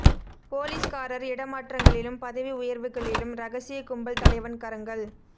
போலீஸ்காரர் இட மாற்றங்களிலும் பதவி உயர்வுகளிலும் இரகசியக் கும்பல் தலைவன் கரங்கள்